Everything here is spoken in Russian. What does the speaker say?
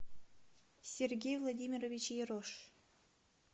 сергей владимирович ерош